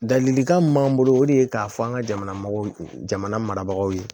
Ladilikan min m'an bolo o de ye k'a fɔ an ka jamana marabagaw ye